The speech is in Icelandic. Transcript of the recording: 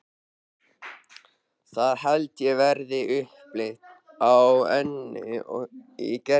Það held ég verði upplit á Önnu í Gerði.